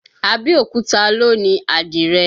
Abẹ́òkúta ló ni àdìrẹ